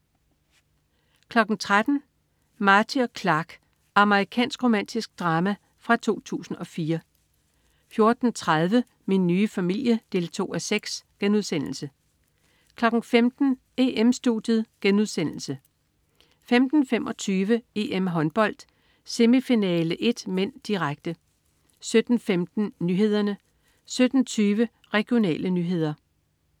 13.00 Marty og Clark. Amerikansk romantisk drama fra 2004 14.30 Min nye familie 2:6* 15.00 EM-Studiet* 15.25 EM-Håndbold: Semifinale 1 (m), direkte 17.15 Nyhederne 17.20 Regionale nyheder